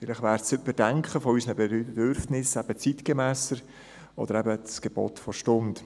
Vielleicht wäre das Überdenken unserer Bedürfnisse zeitgemässer oder sogar das Gebot der Stunde.